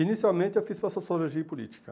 Inicialmente, eu fiz para Sociologia e Política.